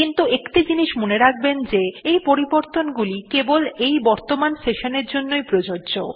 কিন্তু একটি জিনিস মনে রাখবেন যে এই পরিবর্তনগুলি কেবল এই বর্তমান session এর জন্য প্রযোজ্য